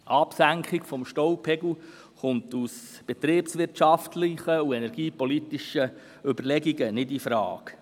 Eine Absenkung des Staupegels kommt aus betriebswirtschaftlichen und energiepolitischen Überlegungen nicht infrage.